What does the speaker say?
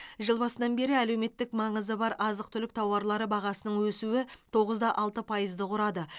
жыл басынан бері әлеуметтік маңызы бар азық түлік тауарлары бағасының өсуі тоғыз да алты пайызды құрады